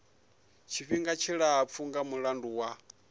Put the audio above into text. tshifhinga tshilapfu nga mulandu wa